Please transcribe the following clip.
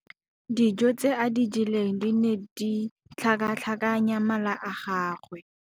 Dijô tse a di jeleng di ne di tlhakatlhakanya mala a gagwe.